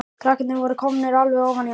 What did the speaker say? Krakkarnir voru komnir alveg ofan í hann.